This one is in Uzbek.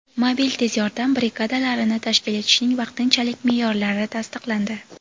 Mobil tez yordam brigadalarini tashkil etishning vaqtinchalik me’yorlari tasdiqlandi.